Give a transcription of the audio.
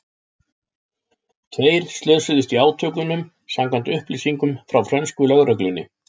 Tveir slösuðust í átökunum samkvæmt upplýsingum frá frönsku lögreglunni.